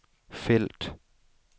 felt